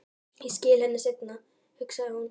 Ég skila henni seinna, hugsaði hún.